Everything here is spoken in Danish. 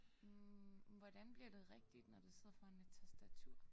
Hm men hvordan bliver det rigtigt når du sidder foran et tastatur